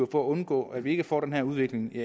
undgå at vi får den her udvikling i